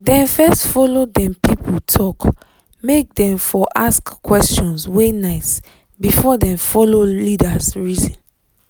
dem first follow dem people talk make dem for ask questions wey nice before dem follow leaders reason